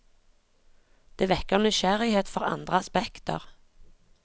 Det vekker nysgjerrighet for andre aspekter.